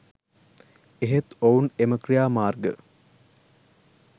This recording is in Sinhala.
එහෙත් ඔවුන් එම ක්‍රියාමාර්ග